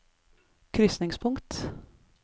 krysningspunkt